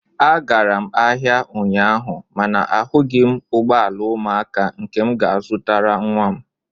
Agara m ahịa ụnyaahụ mana ahụghị m ụgbọ ala ụmụaka nke m ga-azụrụ nwa m